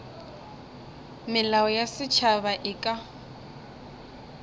melao ya setšhaba e ka